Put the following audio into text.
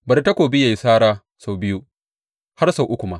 Bari takobi ya yi sara sau biyu, har sau uku ma.